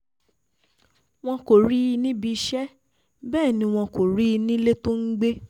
wọn kò rí i níbi iṣẹ́ bẹ́ẹ̀ ni wọn kò rí i nílé tó ń gbé